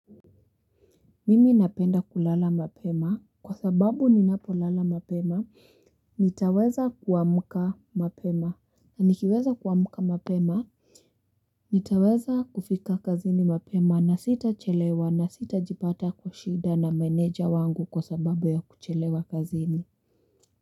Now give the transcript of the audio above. Mimi napenda kulala mapema kwa sababu ninapolala mapema nitaweza kuamlka mapema nikiweza kuamka mapema nitaweza kufika kazini mapema na sitachelewa na sitajipata kwa shida na meneja wangu kwa sababu ya kuchelewa kazini.